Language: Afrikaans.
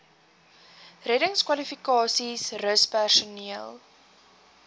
reddingskwalifikasies rus personeel